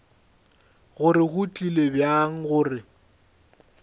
gore go tlile bjang gore